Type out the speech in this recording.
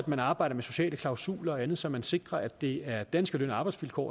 man arbejder med sociale klausuler og andet så man sikrer at det er danske løn og arbejdsvilkår